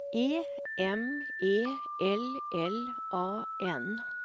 E M E L L A N